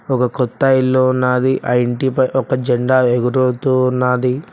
ఒక కొత్త ఇల్లు ఉనాది ఆ ఇంటి పై ఒక జెండా ఎగురుతూ ఉన్నది.